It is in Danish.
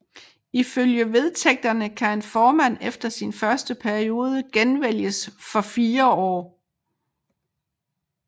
Ifølge vedtægterne kan en formand efter sin første periode genvælges for fire år